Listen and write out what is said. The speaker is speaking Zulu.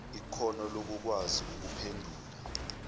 ikhono lokukwazi ukuphendula